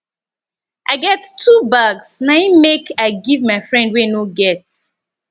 i get two bags na im make i give my friend wey no get